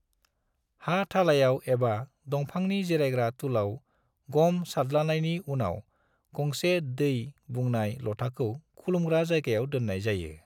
हा थालायाव एबा दंफांनि जिरायग्रा तुलाव ग'म सारद्लानायनि उनाव, गंसे दै बुंनाय ल'थाखौ खुलुमग्रा जायगायाव दोननाय जायो ।